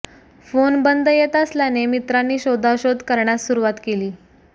phone बंद येत असल्याने मित्रांनी शोधाशोध करण्यास सुरुवात केली